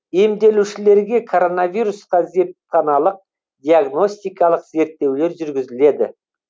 емделушілерге коронавирусқа зертханалық диагностикалық зерттеулер жүргізіледі